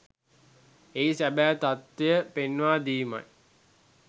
එහි සැබෑ තත්වය පෙන්වා දීමයි.